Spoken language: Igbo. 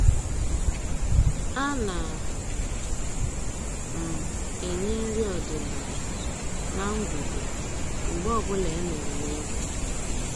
A na m enye nri ọdịnaala na ngwugwu mgbe ọbụla e mere nleta